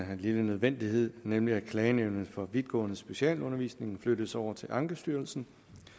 en lille nødvendighed nemlig at klagenævnet for vidtgående specialundervisning flyttes over til ankestyrelsen